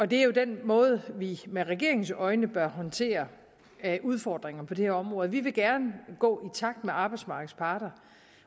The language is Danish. det er den måde vi med regeringens øjne bør håndtere udfordringerne på det her område vi vil gerne gå i takt med arbejdsmarkedets parter